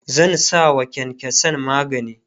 zan sawa kyankyansan magani